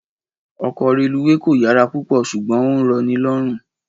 Ọkọ̀ reluwé kò yára púpọ̀ ṣùgbọ́n ó ń rọ ní lọ́rùn